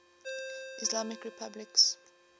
islamic republics